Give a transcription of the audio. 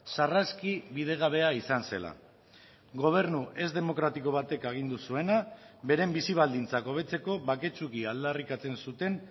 sarraski bidegabea izan zela gobernu ez demokratiko batek agindu zuena beren bizi baldintzak hobetzeko baketsuki aldarrikatzen zuten